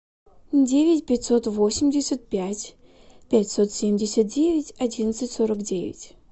девять пятьсот восемьдесят пять пятьсот семьдесят девять одиннадцать сорок девять